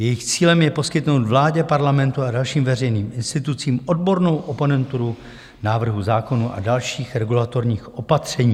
Jejich cílem je poskytnout vládě, Parlamentu a dalším veřejným institucím odbornou oponenturu návrhů zákonů a dalších regulatorních opatření.